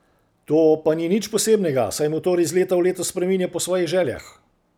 To pa ni nič posebnega, saj motor iz leta v leto spreminja po svojih željah.